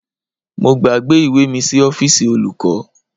Mo gbàgbé ìwé mi sí ọ́fíìsì olùkọ́